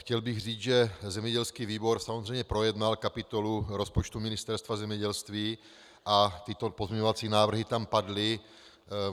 Chtěl bych říct, že zemědělský výbor samozřejmě projednal kapitolu rozpočtu Ministerstva zemědělství a tyto pozměňovací návrhy tam padly.